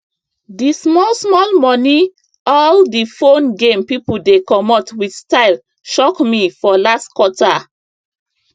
di small small money all di phone game people dey comot with sytle shock me for last quarter